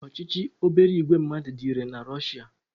Ochichi obere ìgwè mmadụ dị irè n'obodo Russia.